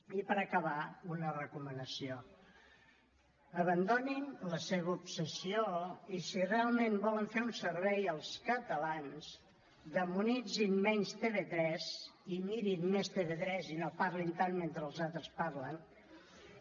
i per acabar una recomanació abandonin la seva obsessió i si realment volen fer un servei als catalans demonitzin menys tv3 i mirin més tv3 i no parlin tant mentre els altres parlen